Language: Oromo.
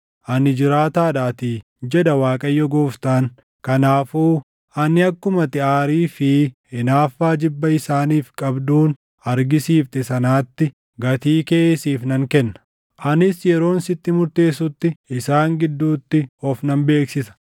ani jiraataadhaatii, jedha Waaqayyo Gooftaan; kanaafuu ani akkuma ati aarii fi hinaaffaa jibba isaaniif qabduun argisiifte sanaatti gatii kee siif nan kenna; anis yeroon sitti murteessutti isaan gidduutti of nan beeksisa.